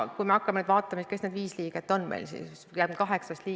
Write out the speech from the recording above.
Kui me nüüd vaatame, kes need viis liiget kaheksast on.